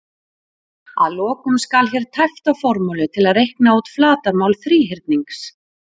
Að lokum skal hér tæpt á formúlu til að reikna út flatarmál þríhyrnings: